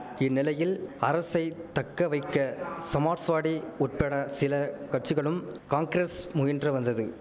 இந்நிலையில் அரசை தக்கவைக்க சமாட்ஸ்வாடி உட்பட சில கட்சிகளும் காங்கிரஸ் முயன்ற வந்தது